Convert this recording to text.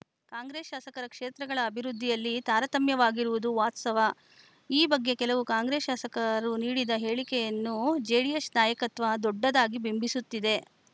ಕಾಂಗ್ರೆಸ್‌ ಶಾಸಕರ ಕ್ಷೇತ್ರಗಳ ಅಭಿವೃದ್ಧಿಯಲ್ಲಿ ತಾರತಮ್ಯವಾಗಿರುವುದು ವಾಸ್ತವ ಈ ಬಗ್ಗೆ ಕೆಲವು ಕಾಂಗ್ರೆಸ್‌ ಶಾಸಕರು ನೀಡಿದ ಹೇಳಿಕೆಯನ್ನು ಜೆಡಿಎಸ್‌ ನಾಯಕತ್ವ ದೊಡ್ಡದಾಗಿ ಬಿಂಬಿಸುತ್ತಿದೆ